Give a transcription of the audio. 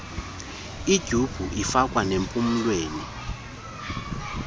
ityhubhu ifakwa nempumlweni